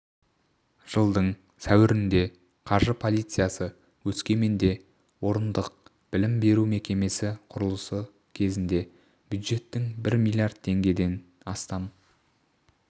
жылдың сәуірінде қаржы полициясы өскеменде орындық білім беру мекемесі құрылысы кезінде бюджеттің бір миллиард теңгеден астам